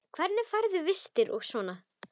Hvernig færðu vistir og svona?